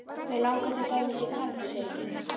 Mig langar til dæmis í garð, segi ég.